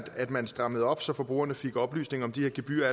at man strammede op så forbrugerne allerede fik oplysninger om de gebyrer